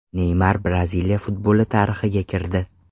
Neymar Braziliya futboli tarixiga kirdi.